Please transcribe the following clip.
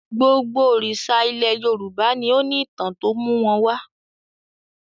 Gbogbo òrìṣà ilẹ̀ Yorùbá ni ó ní ìtàn tó mú wọn wá.